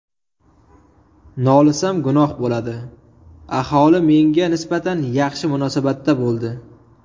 Nolisam gunoh bo‘ladi, aholi menga nisbatan yaxshi munosabatda bo‘ldi.